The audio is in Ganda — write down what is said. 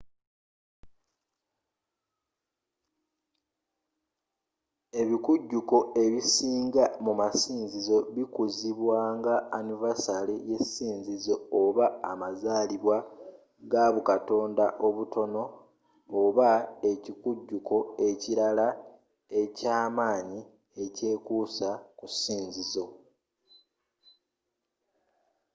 ebikujuko ebisinga mu masinzizo bikuzibwa nga annivasale yesinzizo oba amazaalibwa ga bukatonda obutono oba ekikujuko ekirala ekyamaanyi ekyekuusa ku sinzizo